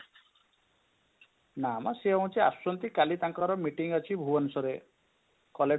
ନା ମ ସେ ହେଉଛି ଆସିଛନ୍ତି କାଲି ତାଙ୍କର meeting ଅଛି ଭୁବନେଶ୍ୱର collector